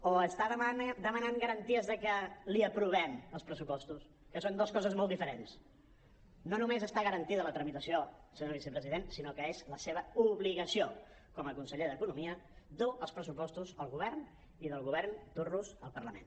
o està demanant garanties de que li aprovem els pressupostos que són dues coses molt diferents no només està garantida la tramitació senyor vicepresident sinó que és la seva obligació com a conseller d’economia dur els pressupostos al govern i del govern dur los al parlament